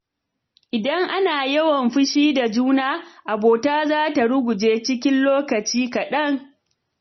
Idan ana yawan fushi da juna, abota za ta ruguje cikin lokaci kaɗan.